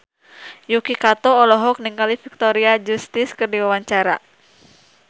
Yuki Kato olohok ningali Victoria Justice keur diwawancara